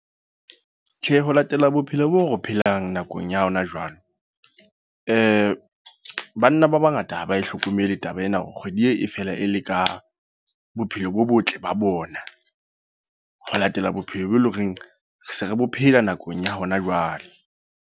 Tjhe, ho latela bophelo bo re phelang nakong ya hona jwale. Banna ba bangata ha ba hlokomele taba ena hore kgwedi e fela e le ka bophelo bo botle ba bona. Ho latela bophelo bo e leng hore, se re phela nakong ya hona jwale.